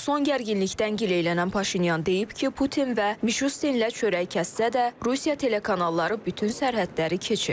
Son gərginlikdən gileylənən Paşinyan deyib ki, Putin və Mişustinlə çörək kəssə də, Rusiya telekanalları bütün sərhədləri keçib.